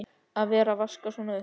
Að vera að vaska svona upp!